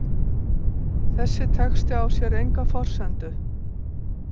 Þessi texti á sér enga forsendu.